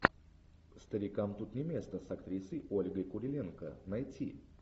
старикам тут не место с актрисой ольгой куриленко найти